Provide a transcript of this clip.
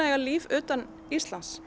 eiga líf utan Íslands